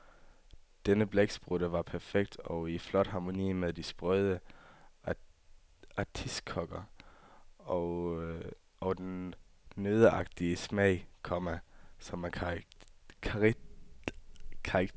Denne blæksprutte var perfekt og i en flot harmoni med de sprøde artiskokker og den nøddeagtige smag, komma som er karakteristisk for salaten. punktum